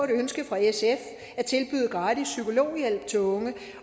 ønske fra sf at tilbyde gratis psykologhjælp til unge